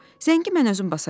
zəngi mən özüm basacağam."